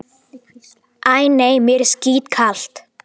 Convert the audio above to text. Æ, nei, mér er skítkalt